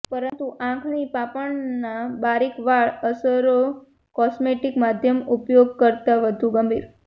પરંતુ આંખણી પાંપણના બારીક વાળ અસરો કોસ્મેટિક મધ્યમ ઉપયોગ કરતાં વધુ ગંભીર